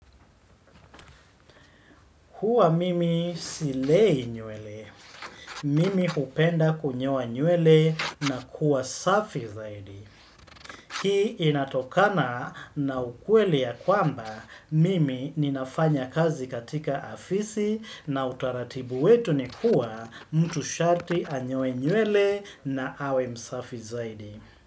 Huwa mimi silei nywele. Mimi hupenda kunyoa nywele na kuwa safi zaidi. Hii inatokana na ukweli ya kwamba, mimi ninafanya kazi katika afisi na utaratibu wetu ni kuwa mtu sharti anyoe nywele na awe msafi zaidi.